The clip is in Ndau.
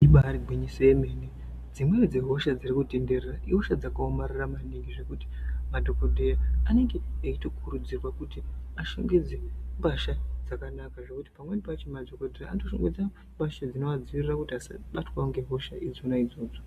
Ibaari gwinyiso yemene dzimweni dzehosha dzirikutenderera ihosha dzakaomarara maningi zvekuti madhogodheya anenge echitokurudzirwa kuti ashongedze mbasha dzakanaka. Ngekuti pamweni pachona madhogodheya anotoshongedza mbasha dzinoadziirira kuti asabatwawo ngehosha dzona idzodzo.